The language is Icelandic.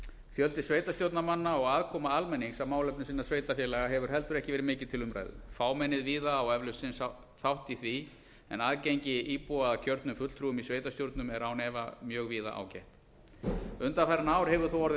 fjöldi sveitarstjórnarmanna og aðkoma almennings að málefnum sinna sveitarfélaga hefur heldur ekki verið mikið til umræðu fámennið víða á eflaust sinn þátt í því en aðgengi íbúa að kjörnum fulltrúum í sveitarstjórnum er án efa mjög víða ágætt undanfarin ár hefur þó orðið